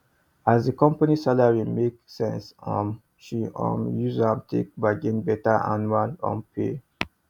as the company salary make sense um she um use am take bargain better annual um pay